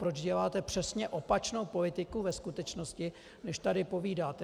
Proč děláte přesně opačnou politiku ve skutečnosti, než tady povídáte?